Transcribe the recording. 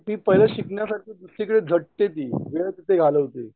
ती पाहिलं शिकण्यासाठी दुसरीकडे झटते ती वेळ तिथे घालवते